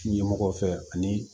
Ɲɛmɔgɔ fɛ ani